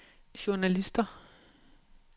journalister